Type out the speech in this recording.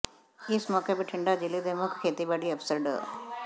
ਇਸ ਮੌਕੇ ਬਿਠੰਡਾ ਜਿਲ੍ਹੇ ਦੇ ਮੁੱਖ ਖੇਤੀਬਾੜੀ ਅਫਸਰ ਡਾ